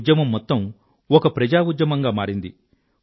ఈ ఉద్యమం మొత్తం ఒక ప్రజాఉద్యమం గా మారింది